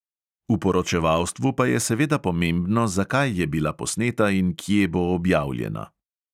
V poročevalstvu pa je seveda pomembno, zakaj je bila posneta in kje bo objavljena.